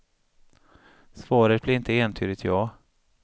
Svaret blir inte entydigt ja.